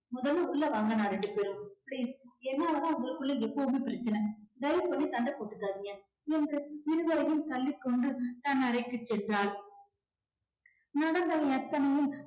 முதல்ல உள்ள வாங்க அண்ணா ரெண்டு பேரும் please என்னால தான் உங்களுக்குள்ள எப்போதுமே பிரச்சனை தயவு பண்ணி சண்டை போட்டுக்காதீங்க என்று இருவரையும் தள்ளிக் கொண்டு தன் அறைக்குச் சென்றாள். நடந்தவை அத்தனையும்